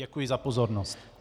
Děkuji za pozornost.